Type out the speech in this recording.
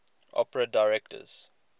opera directors